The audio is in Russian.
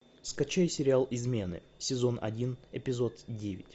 скачай сериал измены сезон один эпизод девять